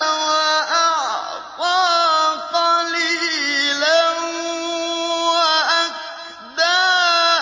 وَأَعْطَىٰ قَلِيلًا وَأَكْدَىٰ